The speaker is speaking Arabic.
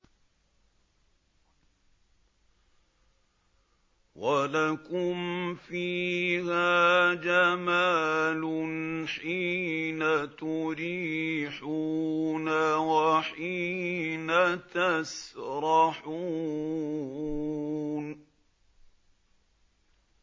وَلَكُمْ فِيهَا جَمَالٌ حِينَ تُرِيحُونَ وَحِينَ تَسْرَحُونَ